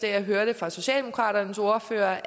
jeg hørte fra socialdemokraternes ordfører